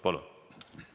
Palun!